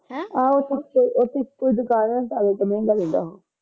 ਆਹ ਸੁਚੇ ਇਹ ਉਚੇ ਦੁਕਾਨ ਤਾ ਕਰਕੇ ਮਹਿੰਗਾ ਦਿੰਦਾ ਉਹ